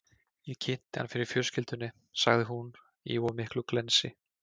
Ég kynnti hann fyrir fjölskyldunni, sagði hún, í of miklu glensi.